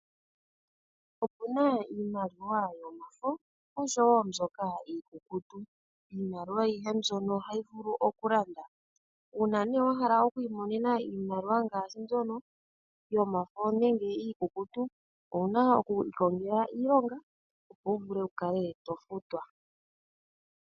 Opuna iimaliwa yomafo , oshowoo mbyoka iikukutu. Iimaliwa ohayi mbyoka ohayi vulu okulanda. Uuna wahala okwiimonena iimaliwa ngaashi mbyono yomafo nenge iikukutu , owuna okwiikongela iilonga opo wuvule okufutwa.